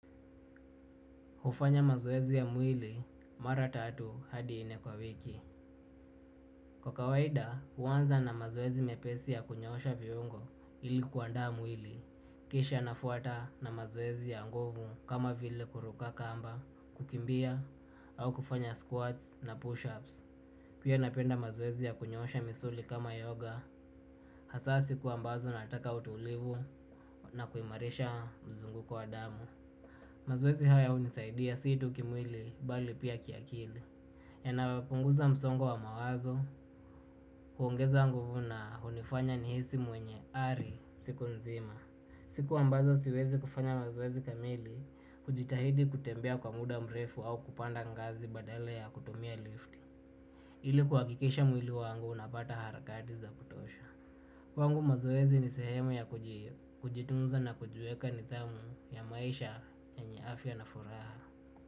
Hufanya mazoezi ya mwili mara tatu hadi nne kwa wiki. Kwa kawaida huanza na mazoezi mepesi ya kunyoosha viungo ili kuandaa mwili. Kisha nafuata na mazoezi ya nguvu kama vile kuruka kamba kukimbia au kufanya squats na push ups. Pia napenda mazoezi ya kunyoosha misuli kama yoga. Hasa siku ambazo nataka utulivu na kuimarisha mzunguko wa damu. Mazoezi haya hunisaidia si tu kimwili bali pia kiakili. Yanayopunguza msongo wa mawazo kuongeza nguvu na hunifanya nihisi mwenye ari siku nzima. Siku ambazo siwezi kufanya mazoezi kamili hujitahidi kutembea kwa muda mrefu au kupanda ngazi badala ya kutumia lift. Ili kuhakikisha mwili wangu unapata harakati za kutosha. Kwangu mazoezi ni sehemu ya kujitunza na kujiweka nidhamu ya maisha yenye afya na furaha.